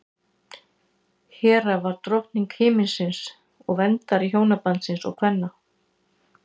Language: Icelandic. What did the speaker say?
hera var drottning himinsins og verndari hjónabandsins og kvenna